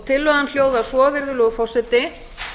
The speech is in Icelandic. tillagan hljóðar svo virðulegur forseti